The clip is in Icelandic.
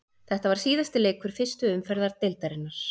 Þetta var síðasti leikur fyrstu umferðar deildarinnar.